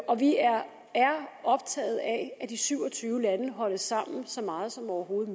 og vi er optaget af at de syv og tyve lande holdes sammen så meget som overhovedet